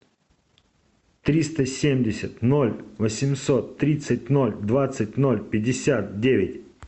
триста семьдесят ноль восемьсот тридцать ноль двадцать ноль пятьдесят девять